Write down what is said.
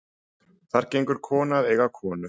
Þar gengur kona að eiga konu.